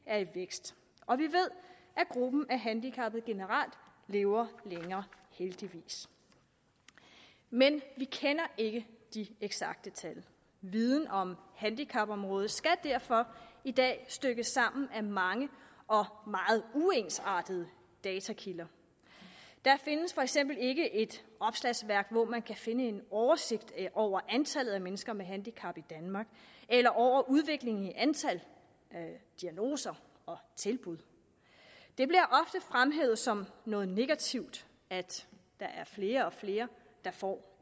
er i vækst og vi ved at gruppen af handicappede generelt lever længere heldigvis men vi kender ikke de eksakte tal viden om handicapområdet skal derfor i dag stykkes sammen af mange og meget uensartede datakilder der findes for eksempel ikke et opslagsværk hvor man kan finde en oversigt over antallet af mennesker med handicap i danmark eller over udviklingen i antal diagnoser og tilbud det bliver ofte fremhævet som noget negativt at der er flere og flere der får